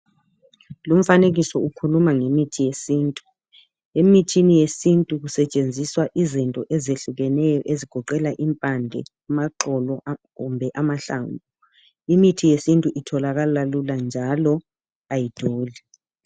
Lumfanekiso ukhuluma ngemithi yesintu, emithini yesintu kusetshenziswa izinto ezehlukeneyo ezigoqela impande, amaxolo kumbe amahlamvu imithi yesintu itholakala lula njalo ayidui.